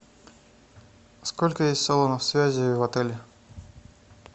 сколько есть салонов связи в отеле